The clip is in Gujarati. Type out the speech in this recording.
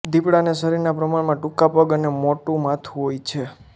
દિપડાને શરીરનાં પ્રમાણમાં ટુંકા પગ અને મોટું માથું હોય છે